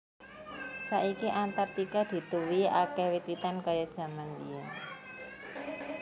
Saiki Antarktika dituwuhi akèh wit witan kaya jaman mbiyèn